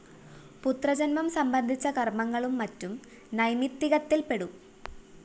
പുത്രജന്മം സംബന്ധിച്ച കര്‍മ്മങ്ങളും മറ്റും നൈമിത്തികത്തില്‍പെടും